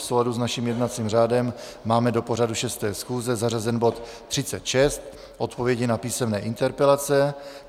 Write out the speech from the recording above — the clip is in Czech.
V souladu s naším jednacím řádem máme do pořadu 6. schůze zařazen bod 36 - Odpovědi na písemné interpelace.